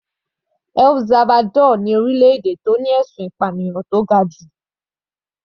El Salvador ni orílẹ̀-èdè tó ní ẹ̀sùn ìpànìyàn tó ga jù.